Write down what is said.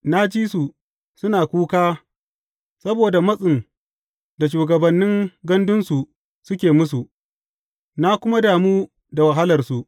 Na ji su suna kuka saboda matsin da shugabannin gandunsu suke musu, na kuma damu da wahalarsu.